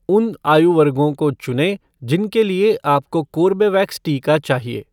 उन आयु वर्गो को चुनें जिनके लिए आपको कोर्बेवैक्स टीका चाहिए।